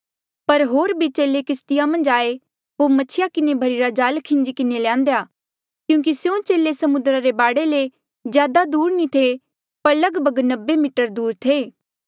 पर होर भी चेले किस्तिया मन्झ आये होर मछिया किन्हें भर्ही रा जाल खीन्जी किन्हें ल्यान्देया क्यूंकि स्यों चेले समुद्रा रे बाढे ले ज्यादा दूर नी थे पर लगभग नब्बे मीटर दूर थे